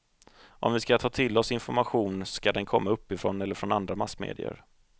Om vi ska ta till oss information ska den komma uppifrån eller från andra massmedier.